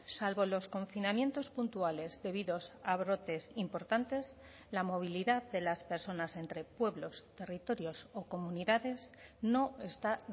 salvo los confinamientos puntuales debidos a brotes importantes la movilidad de las personas entre pueblos territorios o comunidades no está